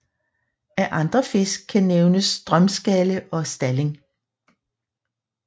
Af andre fisk kan nævnes strømskalle og stalling